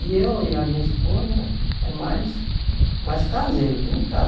E eu e a minha esposa é mais mais caseiro, dentro de casa.